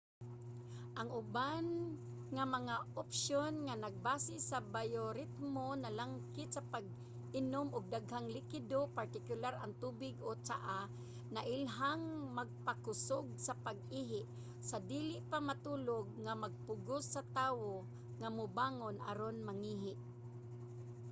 ang uban nga mga opsyon nga nagbase sa bayoritmo nalangkit sa pag-inom og daghang likido partikular ang tubig o tsaa nailhang magpakusog sa pag-ihi sa dili pa matulog nga magpugos sa tawo nga mubangon aron mangihi